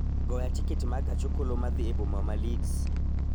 goya tiket ma gach okoloma dhi e boma ma Leeds